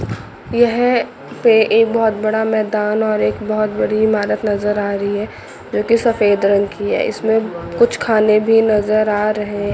यह पे एक बहोत बड़ा मैदान और एक बहोत बड़ी इमारत नजर आ रही है जोकि सफेद रंग की है इसमें कुछ खाने भी नजर आ रहे--